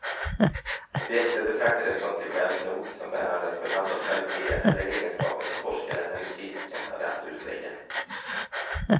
Objektet betraktades som sig självt nog, som bärandes på ett antal kvaliteter eller egenskaper som forskaren eller kritikern hade att utlägga.